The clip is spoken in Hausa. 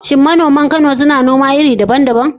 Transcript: Shin manoman Kano suna noma iri daban-daban?